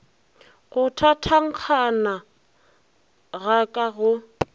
go thathankgana ga ka go